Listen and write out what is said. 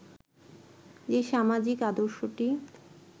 যে সামাজিক আদর্শটি